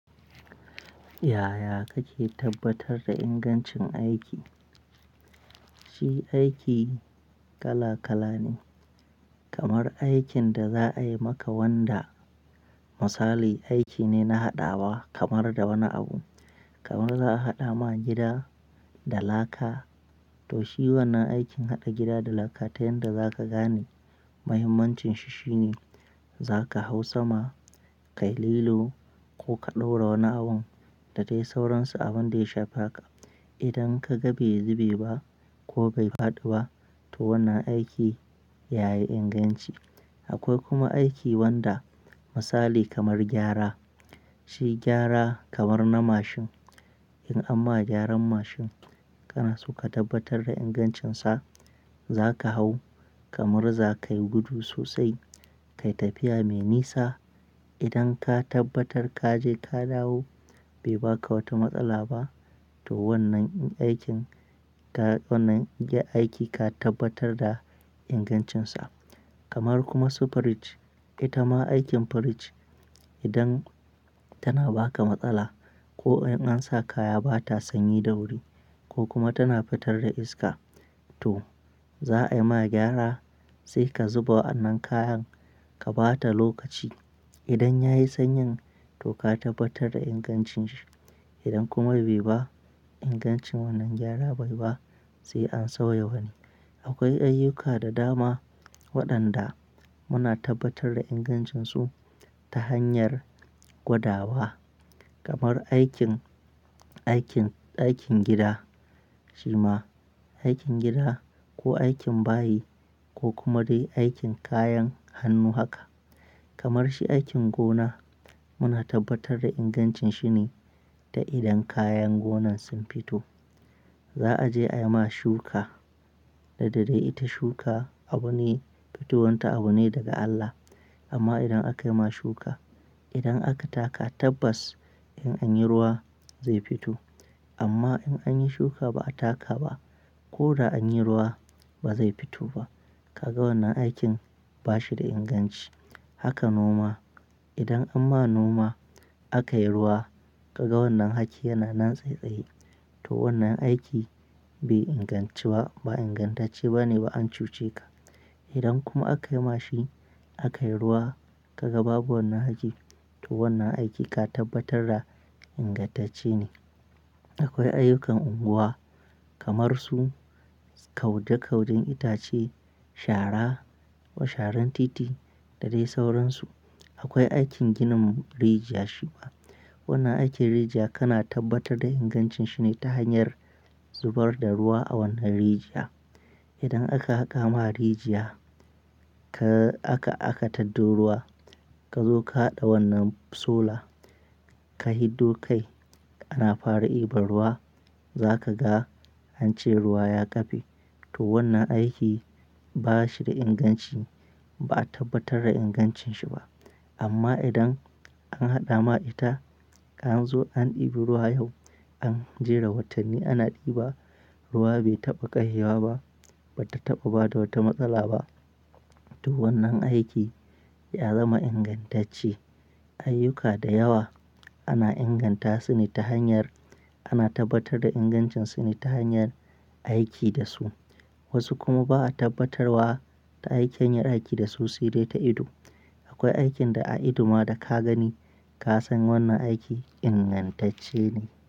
Yaya kake tabbatar da ingancin aiki? Shi aiki kala kala ne, kamar aikin da za a yi maka wanda misali aiki ne na haɗawa kamar da wani abu. Kamar za a haɗa ma gida da laka to shi wannan aikin haɗa gida da laka ta yanda za ka gane mahimmancin shi shine za ka hau sama, ka yi lilo ko ka ɗaura wani abun da dai sauransu abin da ya shafa ka. Idan ka ga bai zube ba ko bai faɗi ba to wannan aiki yayi inganci. Akwai kuma aiki wanda misali kamar gyara, shi gyara kamar na mashin. In amma gyaran mashin kana so ka tabbatar da ingancinsa za ka hau kamar za ka yi gudu sosai, ka yi tafiya mai nisa. Idan ka tabbatar ka je ka dawo bai ba ka wata matsala ba to wannan aikin ka wannan aiki ka tabbatar da ingancinsa. Kamar kuma su firij, ita ma aikin firij idan tana ba ka matsala ko in an sa kaya ba ta sanyi da wuri ko kuma tana fitar da iska to za a yi ma gyara sai ka zuba wannan kayan ka ba ta lokaci. Idan ya yi sanyi to ka tabbatar da ingancin shi. Idan kuma bai ba ingancin wannan gyara bai ba sai an sauya wani. Akwai ayyuka da dama waɗanda muna tabbatar da ingancinsu ta hanyar gwadawa kamar aikin, aikin, aikin gida. Shi ma aikin gida ko aikin bayi ko kuma dai aikin kayan hannu haka. Kamar shi aikin gona muna tabbatar da ingancin shine ta idan kayan gonan sun fito. Za a je a yi ma shuka, da dare ita shuka abu ne fitowar ta abu ne daga Allah. Amma idan aka yi ma shuka, idan aka taka tabbas in an yi ruwa zai fito. Amma in an yi shuka ba a taka ba ko da an yi ruwa ba zai fito ba. Kaga wannan aikin ba shi da inganci. Haka noma, idan amma noma aka yi ruwa ka ga wannan haki yana nan tsai tsai to wannan aiki bai inganci ba, ba ingantacce ba ne ba an cuce ka. Idan kuma aka yi ma shi aka yi ruwa ka ga babu wannan haki to wannan aiki ka tabbatar da ingantacce ne. Akwai ayyukan unguwa kamar su kaude kaudin itace, shara ko sharan titi da dai sauransu. Akwai aikin ginin rijiya. Shi ma wannan aikin rijiya kana tabbatar da ingancin shine ta hanyar zubar da ruwa a wannan rijiya. Idan aka haka ma rijiya ka aka aka taddo ruwa ka zo ka haɗa wannan sola ka hiddo kai ana fara ɗiba ruwa za ka ga ance ruwa ya kafe to wannan aiki ba shi da inganci ba a tabbatar da ingancin shi ba. Amma idan an haɗa ma ita ka an zo an ɗibi ruwa yau an jera watanni ana ɗiba ruwa bai taɓa ƙarewa ba, ba ta taɓa ba da wata matsala ba to wannan aiki ya zama ingantacce. Ayyuka da yawa ana inganta su ne ta hanyar ana tabbatar da ingancin su ne ta hanyar aiki da su. Wasu kuma ba a tabbatarwa ta aikenyar aiki da su sai dai ta ido. Akwai aikin da a ido ma da ka gani ka san wannan aiki ingantacce ne.